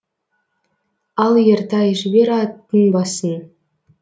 ал ертай жібер аттың басын